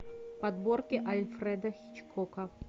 подборки альфреда хичкока